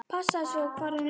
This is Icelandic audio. Passaðu svo hvar þú lemur.